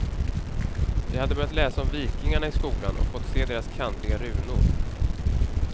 Vi hade börjat läsa om vikingarna i skolan och fått se deras kantiga runor.